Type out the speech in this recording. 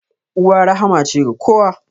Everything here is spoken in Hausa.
Uwa rahma ce ga kowa.